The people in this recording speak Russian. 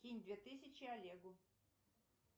кинь две тысячи олегу